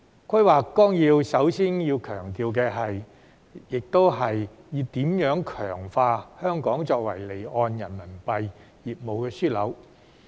規劃綱要首先強調的亦是如何強化香港作為離岸人民幣業務樞紐。